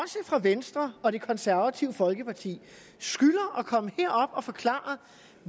fra venstre og det konservative folkeparti skylder at komme herop og forklare